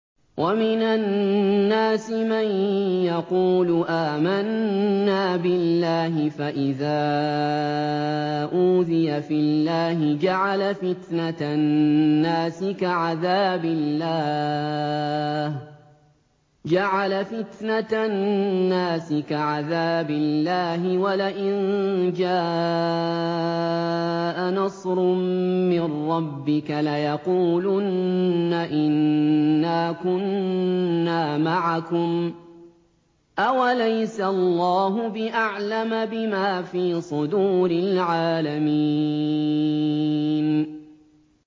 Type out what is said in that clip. وَمِنَ النَّاسِ مَن يَقُولُ آمَنَّا بِاللَّهِ فَإِذَا أُوذِيَ فِي اللَّهِ جَعَلَ فِتْنَةَ النَّاسِ كَعَذَابِ اللَّهِ وَلَئِن جَاءَ نَصْرٌ مِّن رَّبِّكَ لَيَقُولُنَّ إِنَّا كُنَّا مَعَكُمْ ۚ أَوَلَيْسَ اللَّهُ بِأَعْلَمَ بِمَا فِي صُدُورِ الْعَالَمِينَ